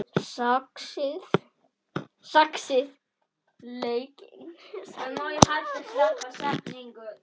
Saxið laukinn smátt.